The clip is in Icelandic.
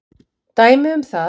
Dæmi um það